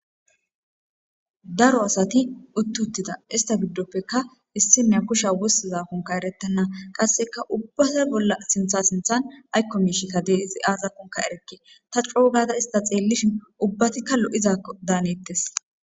Daro asati uttutida ista giddoppeka issinne kusha wussiza kunka erettana qasseka ubbata bolla sintha sinthan aykko miishikka dee izi aazakonka erekke ta coo gaada ista xeellishin ubbatikka lo7izakko daanettes